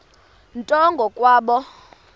nto ngo kwabo